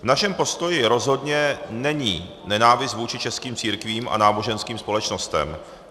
V našem postoji rozhodně není nenávist vůči českým církvím a náboženským společnostem.